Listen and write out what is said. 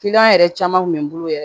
yɛrɛ caman kun bɛ n bolo yɛrɛ